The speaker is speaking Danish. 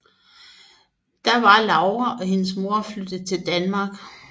Da var Laura og hendes mor flyttet til Danmark